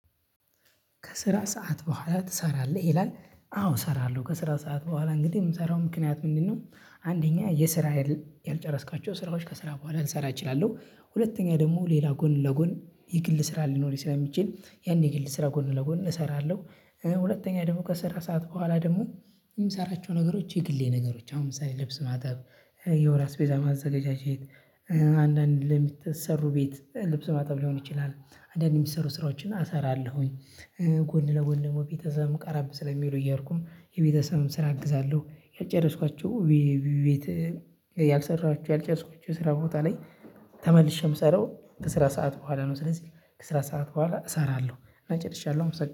ከስራ ሰዓት በኋላ ትሰራለህ ይላል አዎ እሰራለሁ ከስራ ሰዓት በኋላ እንግዲህ የምሰራው ምክንያት ምንድነው አንደኛ፣ የስራ ያልጨረስካቸው ስራዎች ከስራ በኋላ ልሰራ እችላለሁ። ሁለተኛ፣ ደግሞ ሌላ ጎን ለጎን የግል ስራ ሊኖር ይችላል የሚችል ያኔ የግል ስራ ጎን ለጎን እሰራለሁ። ሁለተኛ ደግሞ ከሰራ ሰዓት በኋላ ደግሞ የምሰራቸው ነገሮች የግሌ ነገሮች አሁን ለብስ ማጠብ የውራ ስፔዛ ማዘጋጀት አንዳንድ ለሚሰሩ ቤት ልብስ ማጠብ ሊሆን ይችላል አንዳንድ የሚሰሩ ስራዎችን አሰራለሁኝ። ጎን ለጎን ደግሞ ቤተሰብም ቀራብ ስለሚሉ እየሄድኩ የቤተሰብም ስራ አግዛለሁ ያጨረስኳቸው ቤት ያልሰራችሁ ያልጨረስኩት ስራ ቦታ ላይ ተመልሼ ምሰራው ከስራ ሰዓት በኋላ ነው ስለዚህ ከስራ ሰዓት በኋላ እሰራለሁ እና ጨርሻለሁ።